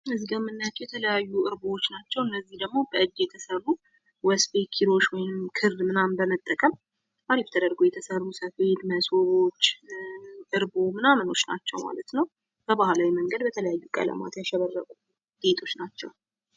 እዚጋ የምንናያቸው የተለያዩ እርቦች ናቸው እነዚህ ደሞ በእጅ የተሰሩ ወስፌ፥ ኪሎሽ፥ ውይም ክር ምናምን በመጠቀም አሪፍ ተደርገው የተሰሩ ሰፊ ሰፋድ፥ እርቦች ምናምን ናቸው ማለት ነው። በባህላዊ መንገድ በተለያዩ ቀለማት ያሸበረቁ ጌጦች ናቸው።